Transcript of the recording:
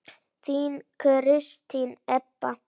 Þín Kristín Edda.